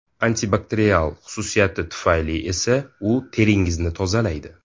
Antibakterial xususiyati tufayli esa u teringizni tozalaydi.